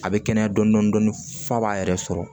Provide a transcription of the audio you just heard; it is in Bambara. A bɛ kɛnɛya dɔɔnin fa b'a yɛrɛ sɔrɔ